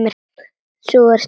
Sú er sterk, maður!